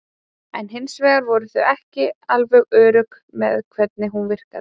En hins vegar voru þau ekki alveg örugg með hvernig hún virkaði.